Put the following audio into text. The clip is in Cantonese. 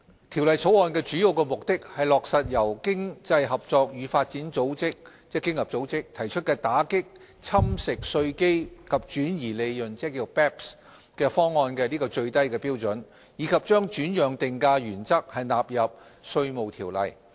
《條例草案》的主要目的是落實由經濟合作與發展組織提出打擊"侵蝕稅基及轉移利潤"方案的最低標準，以及將轉讓定價原則納入《稅務條例》。